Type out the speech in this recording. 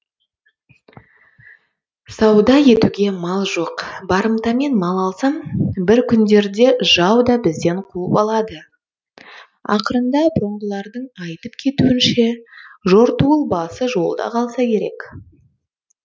сауда етуге мал жоқ барымтамен мал алсам бір күндерде жау да бізден қуып алады ақырында бұрынғылардың айтып кетуінше жортуыл басы жолда қалса керек